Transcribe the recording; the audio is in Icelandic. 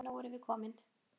Jæja, nú erum við komin.